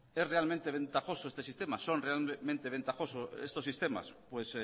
es realmente ventajoso este sistema son realmente ventajosos estos sistemas pues